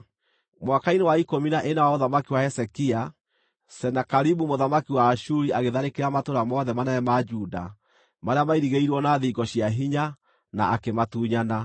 Mwaka-inĩ wa ikũmi na ĩna wa ũthamaki wa Hezekia, Senakeribu mũthamaki wa Ashuri agĩtharĩkĩra matũũra mothe manene ma Juda marĩa mairigĩirwo na thingo cia hinya, na akĩmatunyana.